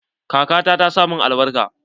Kaka ta ta sa min albarka.